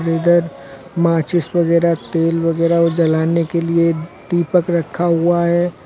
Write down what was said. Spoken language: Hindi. इधर माचिस वगैरा तेल वगैरा वो जलाने के लिए दीपक रखा हुआ है।